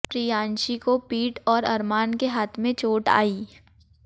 प्रियांशी को पीठ और अरमान के हाथ में चोट आई